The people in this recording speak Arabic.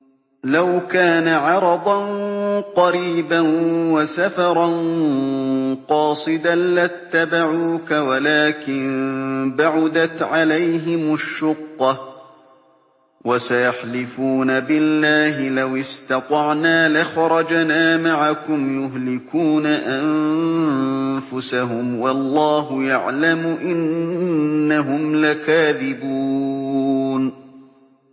لَوْ كَانَ عَرَضًا قَرِيبًا وَسَفَرًا قَاصِدًا لَّاتَّبَعُوكَ وَلَٰكِن بَعُدَتْ عَلَيْهِمُ الشُّقَّةُ ۚ وَسَيَحْلِفُونَ بِاللَّهِ لَوِ اسْتَطَعْنَا لَخَرَجْنَا مَعَكُمْ يُهْلِكُونَ أَنفُسَهُمْ وَاللَّهُ يَعْلَمُ إِنَّهُمْ لَكَاذِبُونَ